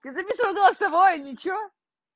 я записываю голосовое ничего